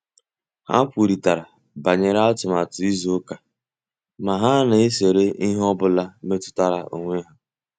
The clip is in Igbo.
Ha kwurịtara banyere atụmatụ izu ụka ma ha na-ezere ihe ọ bụla metụtara onwe ha